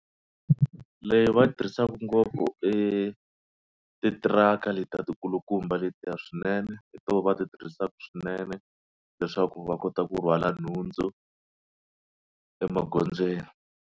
Leyi va tirhisaka ngopfu i titiraka letiya ti kulukumba letiya swinene hi to va ti tirhisaka swinene leswaku va kota ku rhwala nhundzu emagondzweni.